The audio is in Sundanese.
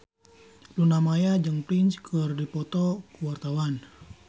Luna Maya jeung Prince keur dipoto ku wartawan